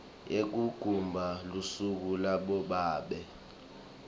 yekugubha lusuku labobabe